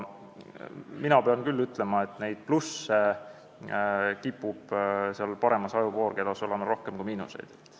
Mina pean küll ütlema, et plusse kipub paremas ajupoolkeras olema rohkem kui miinuseid.